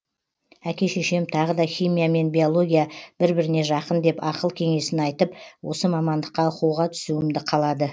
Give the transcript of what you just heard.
әке шешем тағы да химия мен биология бір біріне жақын деп ақыл кеңесін айтып осы мамандыққа оқуға түсуімді қалады